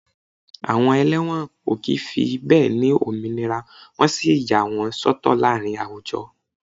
Àwọn ẹlẹ́wọ̀n ó kì í fi bẹ́ẹ̀ ni òmìnira wọ́n sì yà wọ́n sọ́tọ̀ láàárín àwùjọ